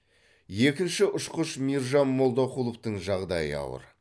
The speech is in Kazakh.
екінші ұшқыш мейіржан молдақұловтың жағдайы ауыр